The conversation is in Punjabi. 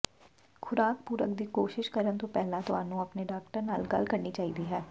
ਖੁਰਾਕ ਪੂਰਕ ਦੀ ਕੋਸ਼ਿਸ਼ ਕਰਨ ਤੋਂ ਪਹਿਲਾਂ ਤੁਹਾਨੂੰ ਆਪਣੇ ਡਾਕਟਰ ਨਾਲ ਗੱਲ ਕਰਨੀ ਚਾਹੀਦੀ ਹੈ